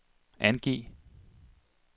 angiv